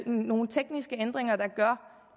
nogle tekniske ændringer der gør